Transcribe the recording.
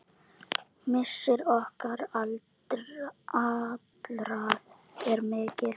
Missir okkar allra er mikill.